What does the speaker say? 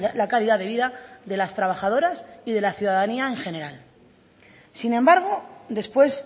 la calidad de vida de las trabajadoras y de la ciudadanía en general sin embargo después